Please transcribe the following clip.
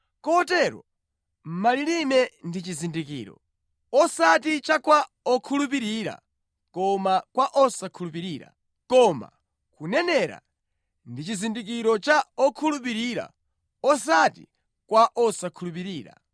Kotero, malilime ndi chizindikiro, osati cha kwa okhulupirira koma kwa osakhulupirira. Koma kunenera ndi chizindikiro kwa okhulupirira osati kwa osakhulupirira.